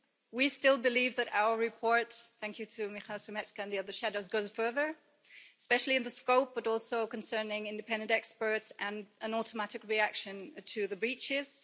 We still believe that our report thank you to Michal Šimečka and the other shadows goes further, especially in scope but also concerning independent experts and an automatic reaction to the breaches.